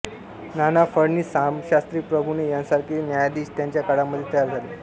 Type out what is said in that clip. नाना फडणीस रामशास्त्री प्रभुणे यांसारखे न्यायाधीश त्यांच्या काळामध्ये तयार झाले